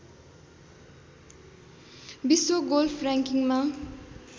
विश्व गोल्फ र्‍याङ्किङमा